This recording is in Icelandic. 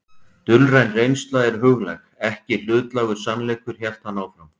Dulræn reynsla er huglæg, ekki hlutlægur sannleikur hélt hann áfram.